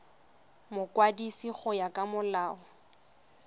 mokwadisi go ya ka molao